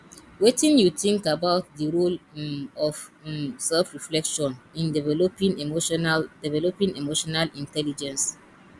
wetin you think about di role um of um selfreflection in developing emotional developing emotional intelligence